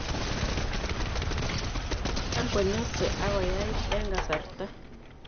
Tam ko nyose ak koyait eng' kasarta